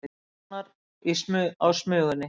Sjá nánar á Smugunni